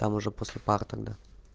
там уже после пар тогда